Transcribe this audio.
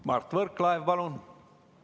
Mart Võrklaev, palun!